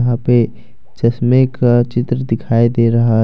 यहां पे चश्मे का चित्र दिखाई दे रहा है।